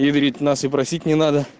нас и просить не